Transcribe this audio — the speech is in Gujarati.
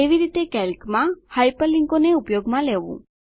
કેવી રીતે કેલ્કમાં હાયપરલીંકોને ઉપયોગમાં લેવું